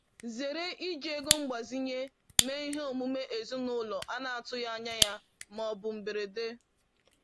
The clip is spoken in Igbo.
Zere iji ego mgbazinye mee ihe omume ezinụlọ a na-atụghị anya ya ma ọ bụ mberede.